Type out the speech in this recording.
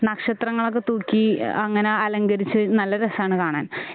നക്ഷത്രങ്ങളൊക്കെ തൂക്കി അങ്ങനെ അലങ്കരിച്ച് നല്ല രസാണ് കാണാൻ